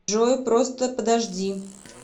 джой просто подожди